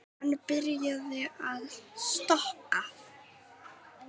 Hann byrjaði að stokka.